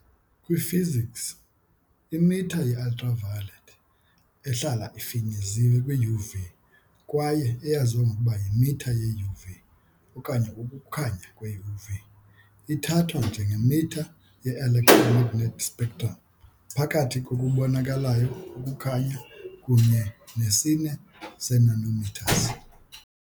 Kwifiziksi, imitha ye-ultraviolet , ehlala ifinyeziwe kwi-UV kwaye eyaziwa ngokuba yimitha ye-UV okanye ukukhanya kwe-UV, ithathwa njengemitha ye -electromagnetic spectrum phakathi kokubonakalayo. ukukhanya kunye ne -4 nm .